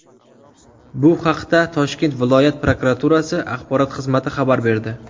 Bu haqda Toshkent viloyat prokuraturasi axborot xizmati xabar berdi .